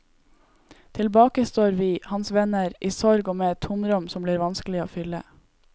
Tilbake står vi, hans venner, i sorg og med et tomrom som blir vanskelig å fylle.